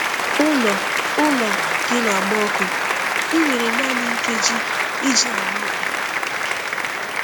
Ụlọ Ụlọ gị na-agba ọkụ, ị nwere naanị nkeji iji gbapụ!